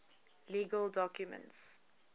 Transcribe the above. legal documents